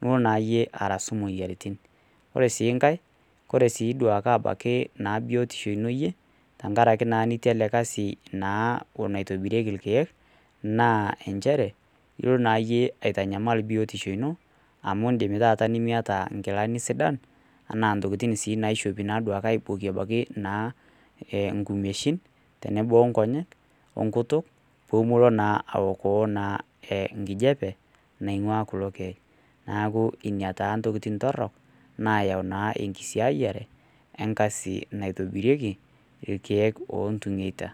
nilo naa iyie arasu imuoyiaritin. Koree sii ngae kore sii abaki naa biyotishu ino iyie tengaraki iyie itii ele kasi naa naitobirieki ilkeek naa nchere ilo naayie aitanyamal biotisho ino amu in'dim taata nimiyata ingilani sidain enaa intokiting naishopi aibokie ebaiki naa ngumeishin tenebo inkonyey ongutuk pee melo naa awokoo naa ngijepe naingua kulo keek neeku ina taa ntokiting torhok naayau naa enkisiayiare enkasi naitobirieki ilkeek oontung'eta.